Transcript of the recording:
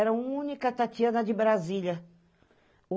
Era a única Tatiana de Brasília.